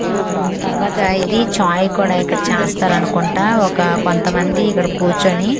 ఆ తర్వాత ఇది చాయ్ కూడా ఇక్కడ చాస్తారు అనుకుంటా ఒక కొంతమంది ఇక్కడ కూర్చొని --